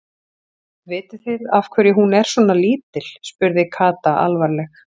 Vitið þið af hverju hún er svona lítil? spurði Kata alvarleg.